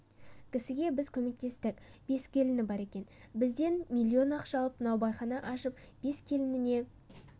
кісіге біз көмектестік бес келіні бар екен бізден миллион ақша алып наубайхана ашып бес келініне